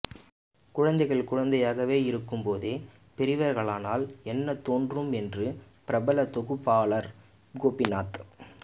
குழந்தைகள் குழந்தையாக இருக்கும் போதே பெரியவர்களானால் என்ன தோன்றும் என்று பிரபல தொகுப்பாளர் கோபிநாத்